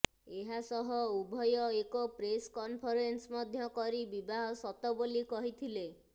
ଏହା ସହ ଉଭୟ ଏକ ପ୍ରେସ୍ କନଫରେନ୍ସ ମଧ୍ୟ କରି ବିବାହ ସତ ବୋଲି କହିଥିଲେ